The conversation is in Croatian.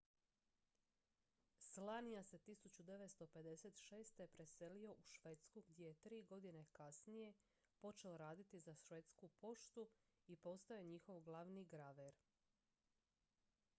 słania se 1956. preselio u švedsku gdje je 3 godine kasnije počeo raditi za švedsku poštu i postao je njihov glavni graver